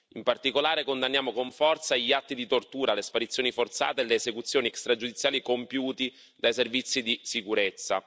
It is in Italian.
In particolare condanniamo con forza gli atti di tortura, le sparizioni forzate e le esecuzioni extragiudiziali compiuti dai servizi di sicurezza.